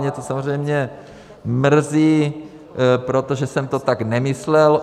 Mě to samozřejmě mrzí, protože jsem to tak nemyslel.